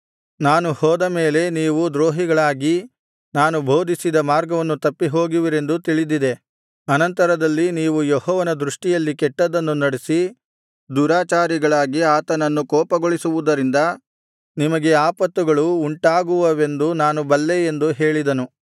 ನಾನು ಹೋದ ಮೇಲೆ ನೀವು ದ್ರೋಹಿಗಳಾಗಿ ನಾನು ಬೋಧಿಸಿದ ಮಾರ್ಗವನ್ನು ತಪ್ಪಿಹೋಗುವಿರೆಂದೂ ತಿಳಿದಿದೆ ಅನಂತರದಲ್ಲಿ ನೀವು ಯೆಹೋವನ ದೃಷ್ಟಿಯಲ್ಲಿ ಕೆಟ್ಟದ್ದನ್ನು ನಡಿಸಿ ದುರಾಚಾರಿಗಳಾಗಿ ಆತನನ್ನು ಕೋಪಗೊಳಿಸುವುದರಿಂದ ನಿಮಗೆ ಆಪತ್ತುಗಳು ಉಂಟಾಗುವವೆಂದೂ ನಾನು ಬಲ್ಲೆ ಎಂದು ಹೇಳಿದನು